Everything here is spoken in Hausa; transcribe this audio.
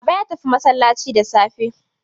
Baba ya tafi masallaci da safe.